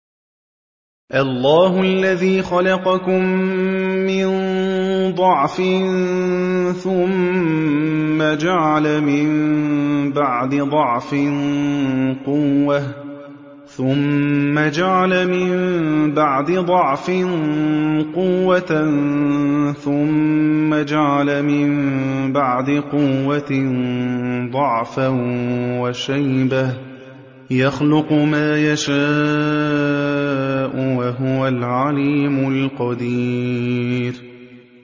۞ اللَّهُ الَّذِي خَلَقَكُم مِّن ضَعْفٍ ثُمَّ جَعَلَ مِن بَعْدِ ضَعْفٍ قُوَّةً ثُمَّ جَعَلَ مِن بَعْدِ قُوَّةٍ ضَعْفًا وَشَيْبَةً ۚ يَخْلُقُ مَا يَشَاءُ ۖ وَهُوَ الْعَلِيمُ الْقَدِيرُ